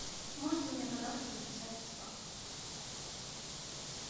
можете меня пожалуйста записать в спа